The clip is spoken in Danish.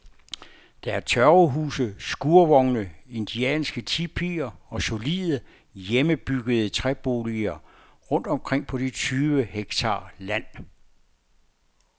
Der er tørvehuse, skurvogne, indianske tipier og solide, hjemmebyggede træboliger rundt omkring på de tyve hektar land.